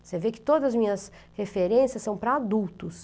Você vê que todas as minhas referências são para adultos.